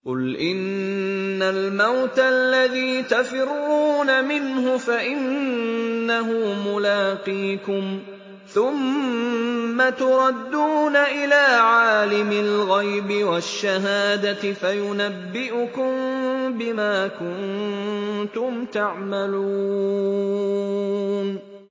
قُلْ إِنَّ الْمَوْتَ الَّذِي تَفِرُّونَ مِنْهُ فَإِنَّهُ مُلَاقِيكُمْ ۖ ثُمَّ تُرَدُّونَ إِلَىٰ عَالِمِ الْغَيْبِ وَالشَّهَادَةِ فَيُنَبِّئُكُم بِمَا كُنتُمْ تَعْمَلُونَ